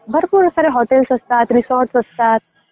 भरपूर सारे हॉटेल्स असतात, रिसॉर्ट असतात.